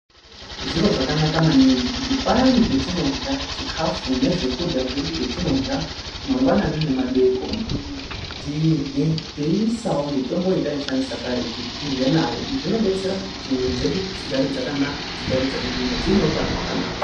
Zviro zvakanaka maningi kuti payani petinorya chikafu nezvekurya zvedu zvetinorya mangwanani nemadeekoni tirye teiisawo mitombo yataishandisa karetu tirye nayo .Izvi zvinodetsera kuti muiri dzedu dzigare dzakanaka dzigare dzakagwinya dzine utano hwakanaka